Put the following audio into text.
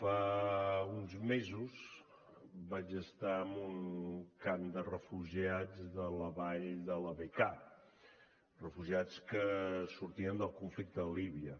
fa uns mesos vaig estar en un camp de refugiats de la vall de la bekaa refugiats que sortien del conflicte de líbia